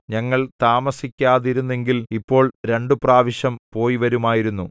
ഞങ്ങൾ താമസിക്കാതിരുന്നെങ്കിൽ ഇപ്പോൾ രണ്ടുപ്രാവശ്യം പോയിവരുമായിരുന്നു